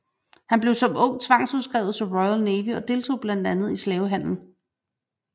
Han blev som ung tvangsudskrevet til Royal Navy og deltog blandt andet i slavehandel